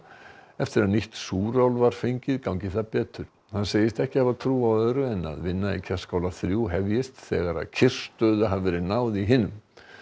eftir að nýtt súrál var fengið gangi það betur hann segist ekki hafa trú á öðru en að vinna í Kerskála þrjú hefjist þegar kyrrstöðu hafi verið náð í hinum